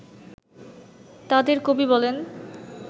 তাঁদের কবি বলেন